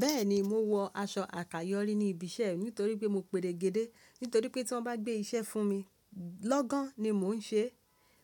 Bẹ́ẹ̀ni, mo wọ aṣọ àkàyọ́rí ní ibi iṣẹ́ nítorí pé mo peregede. Nítorí pé tí wọ́n bá gbé iṣẹ́ fún mi, lọ́gán ni mò ń ṣe é.